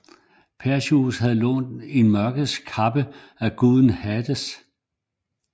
Perseus havde lånt en Mørkets Kappe af guden Hades